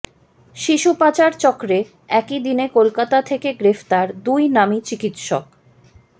শিশুপাচার চক্রে একই দিনে কলকাতা থেকে গ্রেফতার দুই নামী চিকিৎসক